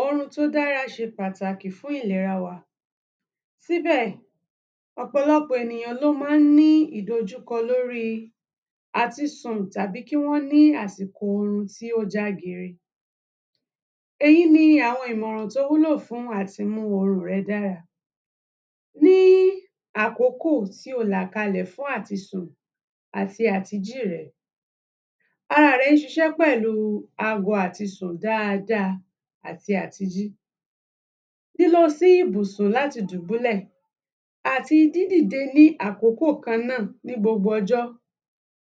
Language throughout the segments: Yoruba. Orun tó dára ṣe pàtàkì fún ìlera wa, síbẹ̀ ọ̀pọ̀lọpọ̀ ènìyàn ló má ń ní ìdojúkọ lórí àti sùn tàbí kí wọ́n ní àsìkò orun tí ó já gere. Èyí ni ìmòràn tí ó wúlò fún àti mú orun rẹ dára, ní àkókò tí o là kalẹ̀ fún àti sùn àti àti jí rẹ. Ara rẹ ń ṣiṣẹ́ pẹ̀lú ago àti sùn dáada àti àti jí, lílọ sí ìbùsùn láti dùbúlẹ̀ àti dídì de ní àkókò kàn náà ní gbogbo ọjọ́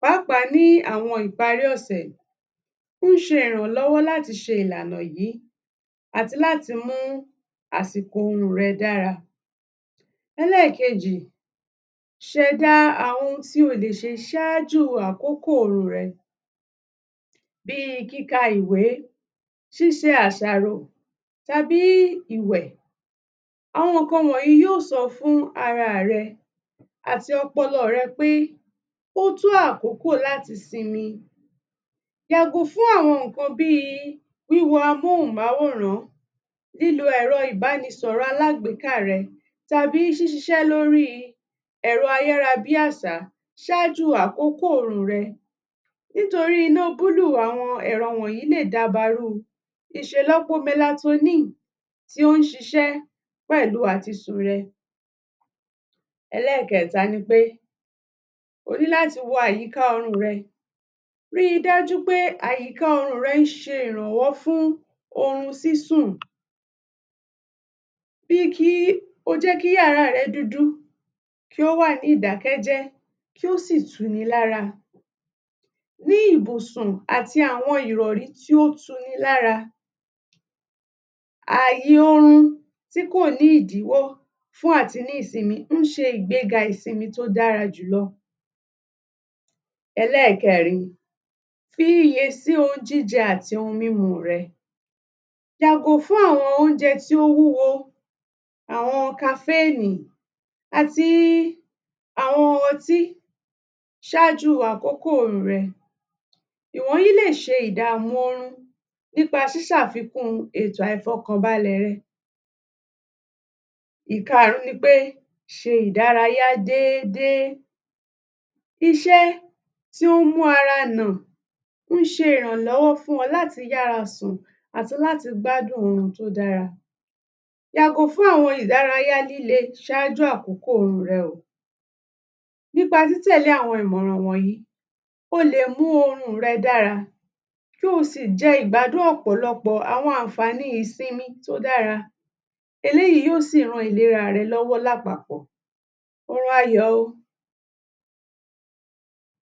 pàápàá ní àwọn ìparí ọ̀sẹ̀ ń ṣe ìrànlọ́wọ́ láti ṣe ìlànà yìí àti láti mú àsìkò orun rẹ dárá. Ẹlẹ́ẹ̀kejì ṣẹ̀dá àwọn ohun tí o lè ṣe sájú àkókò orun rẹ bí kíka ìwé ṣíṣe àṣàrò tàbí ìwẹ̀. Àwọn nǹkan wọ̀nyìí yóò sọ fún ara rẹ àti ọpọlọ rẹ pé ó tó àkókò láti sinmi, yàgò fún àwọn nǹkan bí amóhùnmáwòrán, lílo ẹ̀rọ ìbánisọ̀rọ̀ alágbéká rẹ tàbí ṣíṣiṣẹ́ lórí ẹ̀rọ ayárabí àṣá ṣájú àkókò orun rẹ nítorí iná búlù àwọn ẹ̀rọ wọ̀nyìí lè dabarú ṣìṣè lọ́po melatonine tó ń ṣiṣẹ́ pẹ̀lú àti sùn rẹ. Ẹlẹ́ẹ̀keta ni pé ó ní láti wo àyíká orun rẹ, rí dájú wípé àyíká orun rẹ ń ṣe ìrànwọ́ fún orun sísùn bí kí o jẹ́ kí yàrá rẹ dúdú kí ó wà ní ìdákẹ́jẹ́ kí ó sì tu ni lára, ní ìbùsun àti àwọn ìrọ̀rí tí ó tu ni lára, àyè orun tí kò ní ìdíwọ́ fún àti ní ìsinmi ń ṣe ìgbéga ìsinmi tí ó dára jù lọ. Ẹlẹ́ẹ̀kẹrin fi iyè sí ohun jíjẹ àti ohun mímu rẹ, yàgò fún àwọn óúnjẹ tí ó wúwo, àwọn caffine àti àwọn ọtí ṣájú àkókò orun rẹ, ìwọ̀nyìí lè ṣe ìdàmú orun nípa ṣiṣàfikún ètò àìfọkànbalẹ̀ rẹ. Ìkarùn ún ni pé ṣe ìdárayá dédé, iṣẹ́ tí ó mú ara nà ń ṣe ìrànlọ́wọ́ fún ọ láti yára sùn àti láti gbádùn orun tó dára. Yàgò fún àwọn ìdárayá líle ṣájú àkókò orun rẹ o. nípa títẹ̀lé àwọn ìmọ̀ràn wọ̀nyìí, o lè mú orun rẹ dára kí o sì jẹ ìgbádùn ọ̀̀pọ̀lọpọ̀ àwọn ànfàní ìsinmi tó dára, eléyìí yóò sí ran ìlera rẹ lọ́wọ́ lápapọ̀, orun ayọ̀ o.